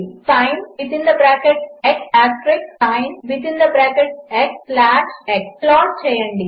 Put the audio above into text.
sinసిన్x ప్లాట్చేయండి